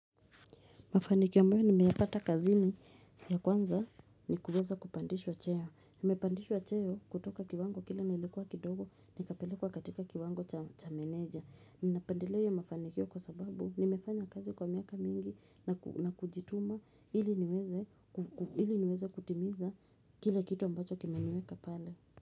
Mafanikiyo ambayo nimeyapata kazini ya kwanza ni kuweza kupandishwa cheo. Nimepandishwa cheo kutoka kiwango kile nilikuwa kidogo nikapelekwa katika kiwango cha meneja. Ninapendeleo iyo mafanikiyo kwa sababu nimefanya kazi kwa miaka mingi na kujituma ili niweze kutimiza kile kitu ambacho kimeniweka pale.